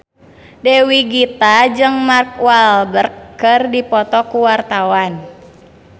Dewi Gita jeung Mark Walberg keur dipoto ku wartawan